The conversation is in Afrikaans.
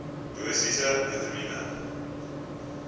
dosisse vitamien